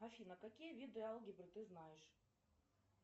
афина какие виды алгебры ты знаешь